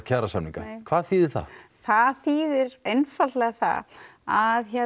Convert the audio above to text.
kjarasamninga hvað þýðir það það þýðir einfaldlega það að